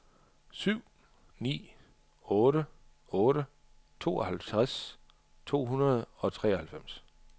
syv ni otte otte tooghalvtreds to hundrede og treoghalvfems